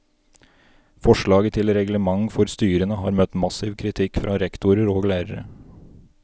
Forslaget til reglement for styrene har møtt massiv kritikk fra rektorer og lærere.